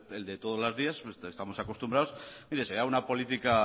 el de todos los días ya estamos acostumbrados mire será una política